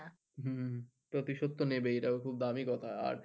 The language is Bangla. প্রতিশোধ তো নেবেই এটা তো খুব দামি কথা আর